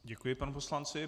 Děkuji panu poslanci.